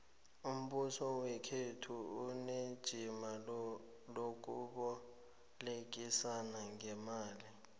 umbuso wekhethu unejima lokubolekisa ngeemali